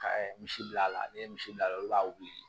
Ka misi bil'a la ne ye misi bila olu b'a wili